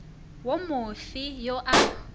wo mo fe yo a